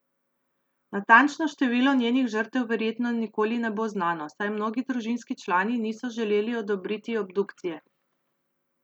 Natančno število njenih žrtev verjetno nikoli ne bo znano, saj mnogi družinski člani niso želeli odobriti obdukcije.